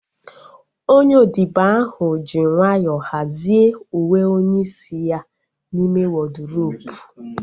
Onye odibo ahu ji nwayọọ hazie uwe onye isi ya n'ime wọdrobu